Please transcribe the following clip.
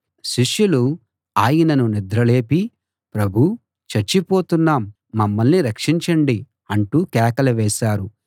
శిష్యులు ఆయనను నిద్ర లేపి ప్రభూ చచ్చిపోతున్నాం మమ్మల్ని రక్షించండి అంటూ కేకలు వేశారు